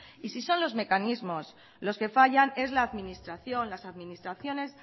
y si son los mecanismos los que fallan es la administración las administraciones